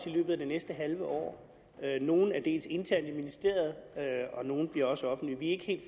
i løbet af det næste halve år nogle er interne i ministeriet og nogle bliver også offentlige vi er ikke helt